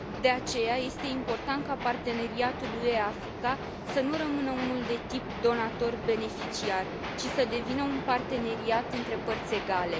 De aceea este important ca parteneriatul UE Africa să nu rămână unul de tip donator beneficiar, ci să devină un parteneriat între părți egale.